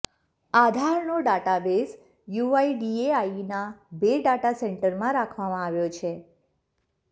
આધારનો database યૂઆઇડીએઆઇના બે data સેન્ટરમાં રાખવામાં આવ્યો છે